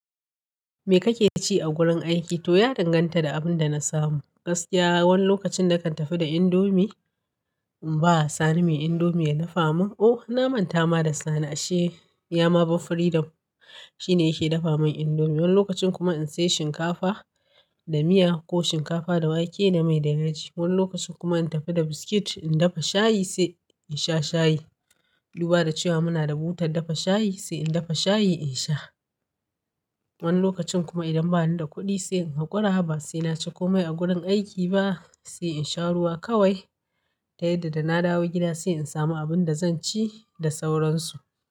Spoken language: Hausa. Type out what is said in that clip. Me kake ci a gurin aiki? To ya danganta da abin da na samu. Gaskiya wani lokacin na kan tafi da indomie in ba Sani mai indomie ya dafa min. O na manta ma da Sani ashe ya ma ba freedom shine yake dafa min indomie. Wani lokacin kuma in sai shinkafa da miya ko shinkafa da wake da mai da yaji. Wani lokacin kuma in tafi da biskit in dafa shayi sai in sha shayi. Duba da cewa muna da butar dafa shayi sai in dafa shayi in sha. Wani lokacin kuma idan bani da kuɗi sai in hakura ba sai na ci komai a gurin aiki ba sai in sha ruwa kawai. Ta yadda da na dawo gida sai in samu abin da zan ci da sauransu.